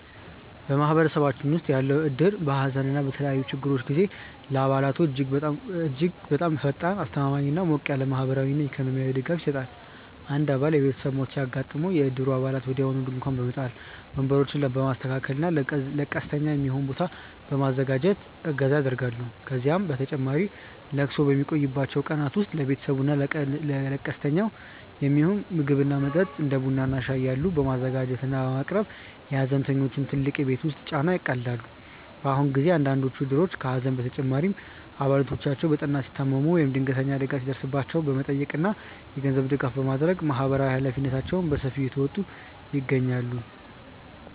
ማህበረሰባችን ውስጥ ያለው እድር በሐዘን እና በተለያዩ ችግሮች ጊዜ ለአባላቱ እጅግ በጣም ፈጣን፣ አስተማማኝ እና ሞቅ ያለ ማህበራዊና ኢኮኖሚያዊ ድጋፍ ይሰጣል። አንድ አባል የቤተሰብ ሞት ሲያጋጥመው፣ የእድሩ አባላት ወዲያውኑ ድንኳን በመጣል፣ ወንበሮችን በማስተካከል እና ለቀስተኛ የሚሆን ቦታ በማዘጋጀት እገዛ ያደርጋሉ። ከዚህም በተጨማሪ ለቅሶው በሚቆይባቸው ቀናት ውስጥ ለቤተሰቡ እና ለቀስተኛው የሚሆን ምግብ እና መጠጥ (እንደ ቡና እና ሻይ ያሉ) በማዘጋጀት እና በማቅረብ የሐዘንተኞቹን ትልቅ የቤት ውስጥ ጫና ያቃልላሉ። በአሁኑ ጊዜ አንዳንዶቹ እድሮች ከሐዘን በተጨማሪ አባላቶቻቸው በጠና ሲታመሙ ወይም ድንገተኛ አደጋ ሲደርስባቸው በመጠየቅ እና የገንዘብ ድጋፍ በማድረግ ማህበራዊ ኃላፊነታቸውን በሰፊው እየተወጡ ይገኛሉ።